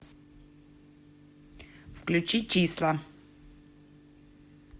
включи числа